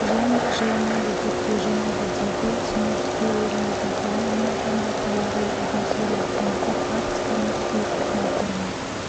және жылынады деп болжанады дейді синоптиктер еліміздің қалған аймақтарында полярлы атмосфералық фронттар арктиканың суық фронттарға